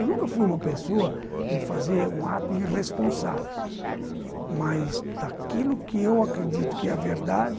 Eu nunca fui uma pessoa de fazer um ato irresponsável, mas daquilo que eu acredito que é a verdade,